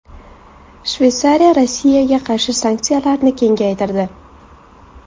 Shveysariya Rossiyaga qarshi sanksiyalarni kengaytirdi.